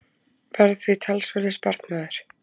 Varð að því talsverður sparnaður.